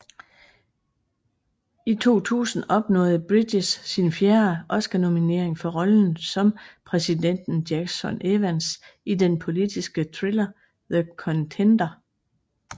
I 2000 opnåede Bridges sin fjerde Oscarnominering for rollen som præsidenten Jackson Evans i den politiske thriller The Contender